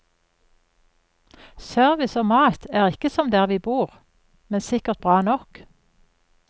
Service og mat er ikke som der vi bor, men sikkert bra nok.